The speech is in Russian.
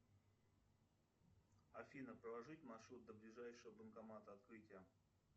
афина проложить маршрут до ближайшего банкомата открытие